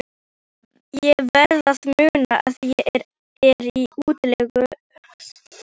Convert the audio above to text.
Ég verð að muna að ég er í útlegð.